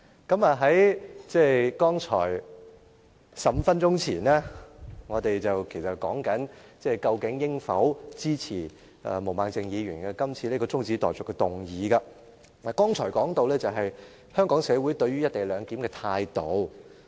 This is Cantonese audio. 剛才我們在討論究竟應否支持毛孟靜議員今次這項中止待續議案時，亦說到香港社會對於"一地兩檢"的態度。